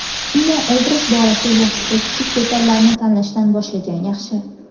Ammo obraz borasida yaxshisi kichik detallarni tanlashdan boshlagan yaxshi.